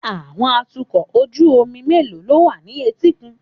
Àwọn atukọ̀ ojú omi mélòó ló wà ní etíkun